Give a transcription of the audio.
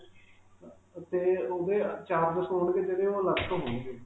ਅਅ ਅਤੇ ਓਹਦੇ charges ਹੋਣਗੇ ਜਿਹੜੇ, ਉਹ ਅਲਗ ਤੋਂ ਹੋਣਗੇ ਜੀ.